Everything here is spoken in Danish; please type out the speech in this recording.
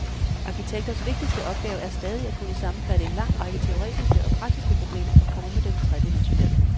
Arkitekters vigtigste opgave er stadig at kunne sammenfatte en lang række teoretiske og praktiske problemer og forme dem tredimensionalt.